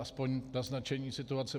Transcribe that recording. Aspoň naznačení situace.